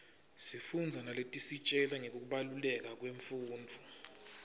sifundza naletisitjela ngekubaluleka kwemfundvo